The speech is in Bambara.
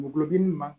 Gulɔ diminni ma